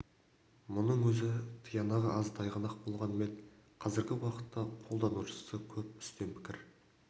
мұның өзі тиянағы аз тайғанақ болғанмен қазіргі уақытта қолданушысы көп үстем пікір